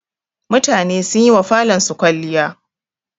Mutane sun yi wa falonsu kwalliya.